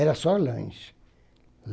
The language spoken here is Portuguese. Era só lanche.